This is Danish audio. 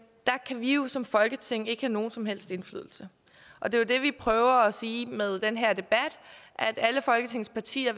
der kan vi jo som folketing ikke have nogen som helst indflydelse og det er det vi prøver at sige med den her debat at alle folketingets partier